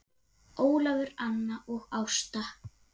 Ólafur, Anna og Ásta.